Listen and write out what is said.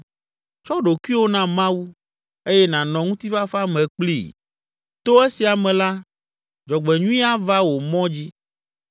“Tsɔ ɖokuiwò na Mawu eye nànɔ ŋutifafa me kplii, to esia me la, dzɔgbenyui ava wò mɔ dzi.